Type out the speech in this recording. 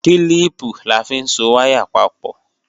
Kílíìpù la fi ń so wáyà pọ̀